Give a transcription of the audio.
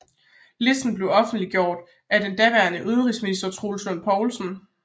Listen blev offentliggjort af den daværende undervisningsminister Troels Lund Poulsen